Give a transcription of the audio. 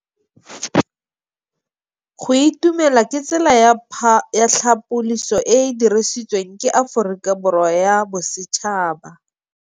Go itumela ke tsela ya tlhapolisô e e dirisitsweng ke Aforika Borwa ya Bosetšhaba.